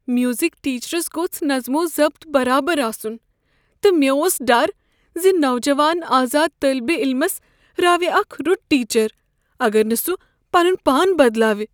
Music teachers گوٚژھ نظم و ضبط برابر آسن، تہٕ مےٚ اوس ڈر ز نوجوان آزاد طٲلب علمس راوِ اکھ رُت ٹیچر اگر نہٕ سہ پنن پان بدلاو۔